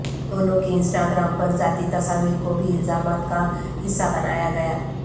دونوں کی Instagram پر ذاتی تصاویر کو بھی الزامات کا حصہ بنایا گیا